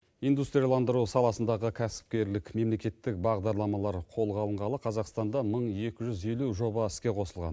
индустрияландыру саласындағы кәсіпкерлік мемлекеттік бағдарламалар қолға алынғалы қазақстанда мың екі жүз елу жоба іске қосылған